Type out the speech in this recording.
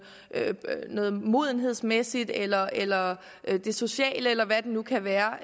noget modenhedsmæssigt eller eller det sociale eller hvad det nu kan være